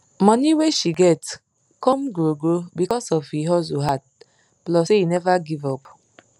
money wey she get come grow grow because of e hustle hard plus say e never give up